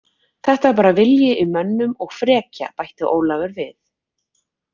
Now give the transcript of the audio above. Þetta var bara vilji í mönnum og frekja, bætti Ólafur við.